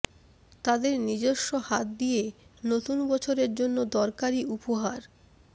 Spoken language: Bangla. তাদের নিজস্ব হাত দিয়ে নতুন বছরের জন্য দরকারী উপহার